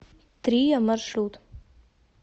трия маршрут